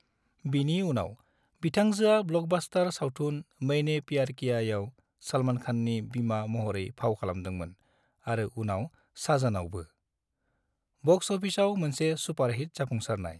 बिनि उनाव बिथांजोआ ब्लकबास्टार सावथुन मैंने प्यार कियाआव सलमान खाननि बिमा महरै फाव खालामदोंमोन आरो उनाव साजनआवबो, बक्स अफिसआव मोनसे सुपारहिट जाफुंसारनाय।